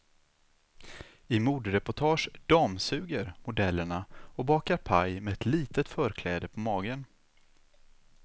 I modereportage damsuger modellerna och bakar paj med ett litet förkläde på magen.